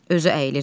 Özü əyilir.